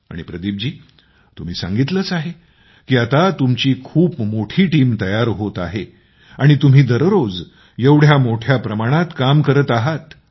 आणि तुम्ही सांगितलेच आहे की आता तुमची खूप मोठी टीम तयार होत आहे आणि तुम्ही दररोज एवढ्या मोठ्या प्रमाणात काम करत आहात